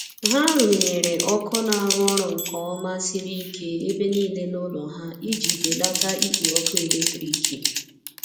ha runyere ọkụ na arụ orụ nke oma siri ike ebe nile n'ulo ha iji belata ikpo ọkụ eletrikị